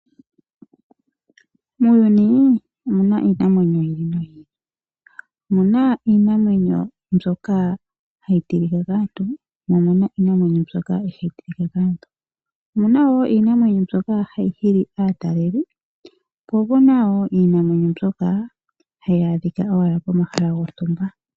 Muuyuni omuna iinamwenyo yi ili noyi ili. Omuna iinamwenyo mbyoka hayi tilika kaantu. Omuna woo iinamwenyo mbyoka ihayi tilika kantu . Omuna woo iinamwenyo mbyoka hayi hili aataleli . Mo omuna woo iinima mbyoka hayi adhika owala komahala gontumba.